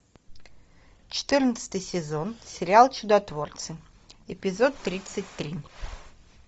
четырнадцатый сезон сериал чудотворцы эпизод тридцать три